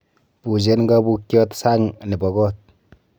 Buuchen kaabuukyat sang' nebo koot